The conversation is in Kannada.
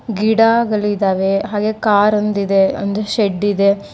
ಗಿಡಗಳಿದ್ದಾವೆ ಹಾಗೆ ಕಾರೊಂದು ಇದೆ ಒಂದು ಶೆಡ್ ಇದೆ.